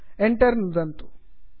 Enter enter कीलं नुदामः